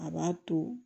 A b'a to